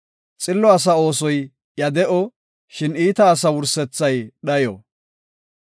Xillo asa oosoy iya de7o; shin iita asa wursethay dhayo.